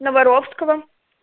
на воровского